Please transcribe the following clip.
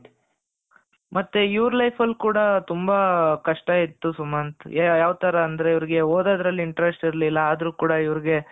ಮತ್ತೆ ಇವರು life ಅಲ್ಲಿ ಕೂಡ ತುಂಬಾ ಕಷ್ಟ ಇತ್ತು ಸುಮಂತ್ ಯಾವ ತರ ಅಂದ್ರೆ ಇವರಿಗೆ ಹೋದದ್ರಲ್ಲಿ interest ಇರಲಿಲ್ಲ ಆದ್ರೂ ಕೂಡ ಇವರಿಗೆ.